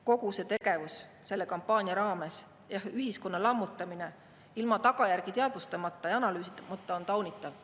Kogu see tegevus selle kampaania raames ja ühiskonna lammutamine ilma tagajärgi teadvustamata ja analüüsimata on taunitav.